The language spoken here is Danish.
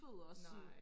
nej